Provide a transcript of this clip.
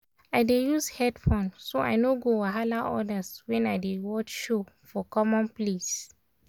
i dey use headphone so i no go wahala others when i dey watch show for common place.